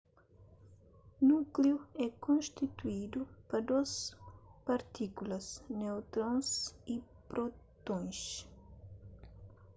núkliu é konstituidu pa dôs partikulas neutrons y prótons